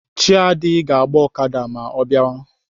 Chiadi ga-agba Okada ma ọ biawa.